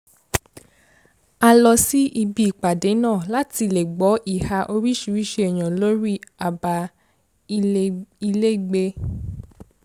a lọ sí ibi ìpàdé náà láti lè gbọ́ ìhà oríṣiríṣi èèyàn lórí abá ilégbèé